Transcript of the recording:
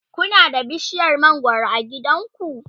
Kuna da bishiyar mangwaro a gidanku?